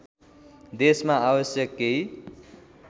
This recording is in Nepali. देशमा आवश्यक केही